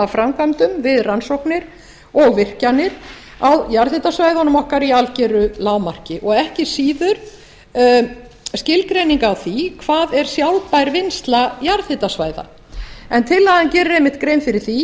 framkvæmdum við rannsóknir og virkjanir á jarðhitasvæðunum okkar í algeru lágmarki og ekki síður skilgreining á því hvað er sjálfbær vinnsla jarðhitasvæða en tillagan gerir einmitt grein fyrir því